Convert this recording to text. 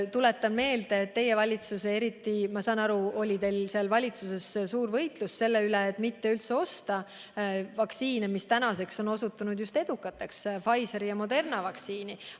Tuletan meelde, et teie valitsuses, nagu ma aru saan, oli suur võitlus selle nimel, et üldse mitte osta vaktsiine, mis nüüdseks on osutunud edukaks, Pfizeri ja Moderna vaktsiini.